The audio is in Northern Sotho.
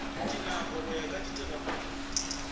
dinako go ya ka ditiragalo